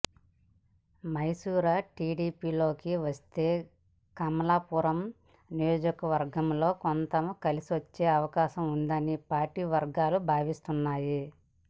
మైసూరా టిడిపిలోకి వస్తే కమలాపూరం నియోజకవర్గంలో కొంత కలిసివచ్చే అవకాశం ఉందని పార్టీ వర్గాలు భావిస్తున్నాయి